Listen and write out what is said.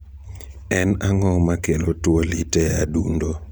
En ang'o makelo tuwo lit e adundo ?